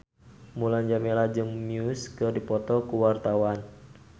Mulan Jameela jeung Muse keur dipoto ku wartawan